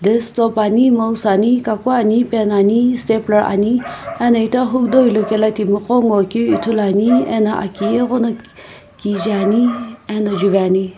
desktop ani mouse ani kaku ani pen ani stapler ani ena ita hukudau ilo kela timiqo ngoakeu ithuluani ena aki ighona kije ani ena juvi ani.